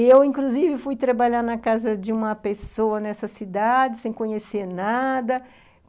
Eu, inclusive, fui trabalhar na casa de uma pessoa nessa cidade, sem conhecer nada.